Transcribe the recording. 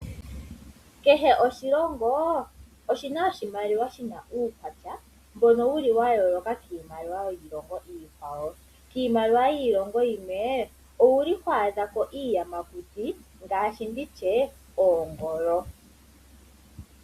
Kehe oshilongo oshina oshimaliwa shina uukwatya mbono wu li wa yooloka kiimaliwa yiilongo iikwawo. Iimaliwa yiilongo yimwe, owu li ho adhako iiyamakuti ngaashi nditye oongolo.